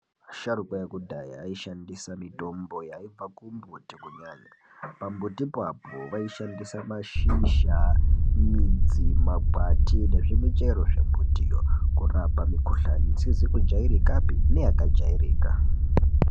Asharukwa ekudhaya aishandisa mitombo yaibva kumbuti kunyanya, pambutipo vaishandise mashizha, midzi, makwati nezvimuchero zvemutiyo kurapa mukuhlani isizi kujairikapi neyakajairika.